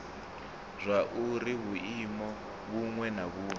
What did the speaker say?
zwauri vhuimo vhuṅwe na vhuṅwe